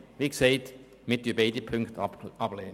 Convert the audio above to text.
Wie gesagt, wir lehnen beide Ziffern ab.